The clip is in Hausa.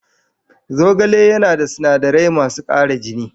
Zogale yana da sinadarai masu ƙara jini